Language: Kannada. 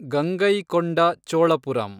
ಗಂಗೈಕೊಂಡ ಚೋಳಪುರಂ